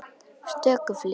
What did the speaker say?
stöku flík.